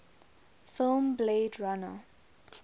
film blade runner